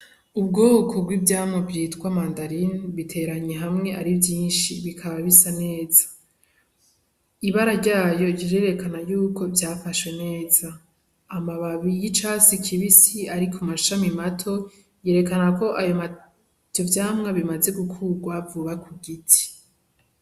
Ubwoko bw'ivyamwa vyitwa mandarine biteraniye hamwe ari vyinshi, bikaba bisa neza. Ibara ryayo rirerekana y'uko vyafashwe neza. Amababi y'icatsi kibisi ari ku mashami mato, yerekana ko ivyo vyamwa bimaze gukurwa vuba ku giti.